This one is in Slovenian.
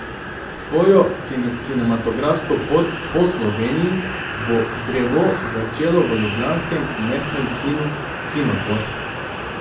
Svojo kinematografsko pot po Sloveniji bo Drevo začelo v ljubljanskem mestnem kinu Kinodvor.